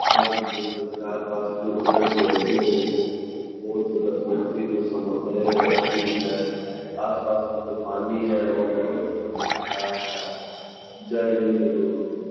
आप भी देख सकते हैं आसपास के जो पेड़-पौधे हैं जो बहुत ही प्रकृति को संभाले रखती है। आसपास के जो पानी है वो बहुत ही अच्छा है। जय हिन्द दोस्तों।